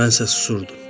Mən isə susurdum.